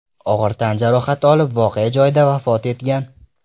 og‘ir tan jarohati olib voqea joyida vafot etgan.